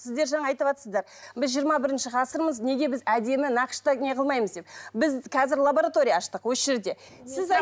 сіздер жаңа айтыватсыздар біз жиырма бірінші ғасырмыз неге біз әдемі нақышта неғылмаймыз деп біз қазір лаборатория аштық осы жерде